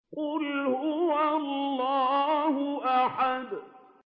قُلْ هُوَ اللَّهُ أَحَدٌ